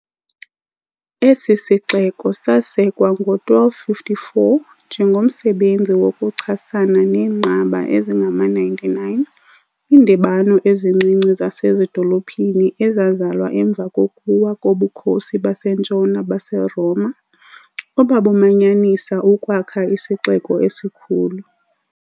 Esi sixeko sasekwa ngo-1254 njengomsebenzi wokuchasana neenqaba ezingama-99, iindibano ezincinci zasezidolophini ezazalwa emva kokuwa koBukhosi baseNtshona baseRoma, obabumanyanisa ukwakha isixeko esikhulu.